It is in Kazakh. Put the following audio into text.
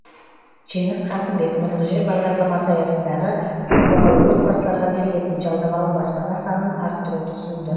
жеңіс қасымбек нұрлы жер бағдарламасы аясындағы көпбалалы отбасыларға берілетін жалдамалы баспана санын арттыруды ұсынды